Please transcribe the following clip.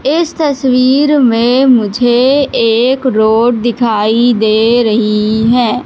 इस तस्वीर में मुझे एक रोड दिखाई दे रही है।